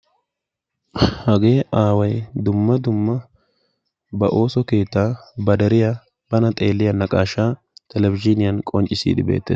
Hagee aaway dumma dumma ba ooso keettaa ba deriyaa bana xeelliyaa naqashshaa telebizhiniyan qonccisiidi beettees.